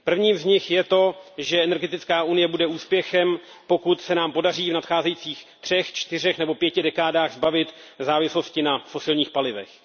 Prvním z nich je to, že energetická unie bude úspěchem, pokud se nám podaří v nadcházejících třech, čtyřech nebo pěti dekádách zbavit závislosti na fosilních palivech.